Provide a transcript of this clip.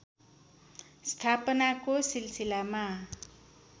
स्थापनाको सिलसिलामा